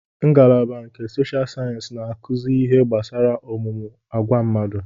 Ngalaba nke sosha sayensị na-akuzi ihe gbasara ọmụmụ agwa mmadụ